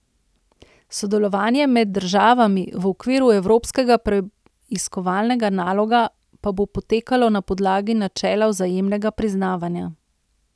Sodelovanje med državami v okviru evropskega preiskovalnega naloga pa bo potekalo na podlagi načela vzajemnega priznavanja.